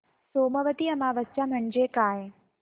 सोमवती अमावस्या म्हणजे काय